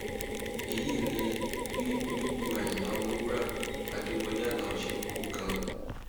èyí ni bí onílù àyínlá ọmọwúrà adéwọlẹ aláo ṣe kú gan